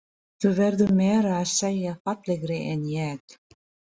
Þú verður meira að segja fallegri en ég.